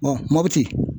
mɔputi